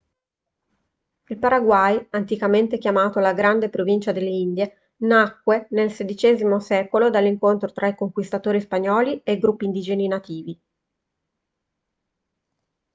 il paraguay anticamente chiamato la grande provincia delle indie nacque nel xvi secolo dall'incontro tra i conquistatori spagnoli e i gruppi indigeni nativi